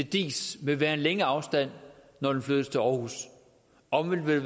diis vil være en længere afstand når de flytter til aarhus omvendt vil